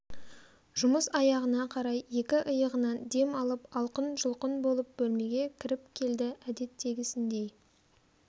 жұмыс аяғына қарай екі иығынан дем алып алқын-жұлқын болып бөлмеге кіріп келді әдеттегісіндей